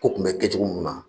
Ko tun bɛ kɛ cogo ninnu na